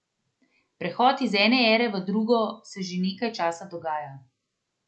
Prehod iz ene ere v drugo se že nekaj časa dogaja.